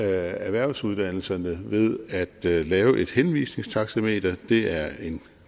erhvervsuddannelserne ved at lave lave et henvisningstaxameter det er en